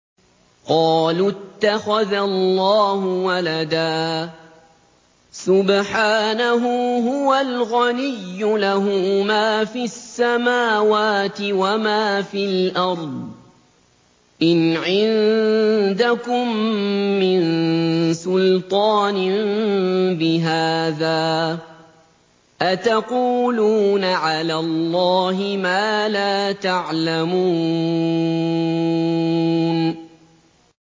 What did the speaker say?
قَالُوا اتَّخَذَ اللَّهُ وَلَدًا ۗ سُبْحَانَهُ ۖ هُوَ الْغَنِيُّ ۖ لَهُ مَا فِي السَّمَاوَاتِ وَمَا فِي الْأَرْضِ ۚ إِنْ عِندَكُم مِّن سُلْطَانٍ بِهَٰذَا ۚ أَتَقُولُونَ عَلَى اللَّهِ مَا لَا تَعْلَمُونَ